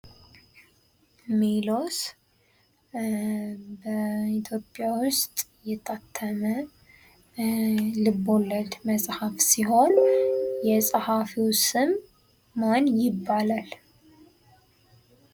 ሜሎስ በኢትዮጵያ ውስጥ የታተመ ልቦለድ መጽሐፍ ሲሆን የጸሐፊው ስም ማን ይባላል?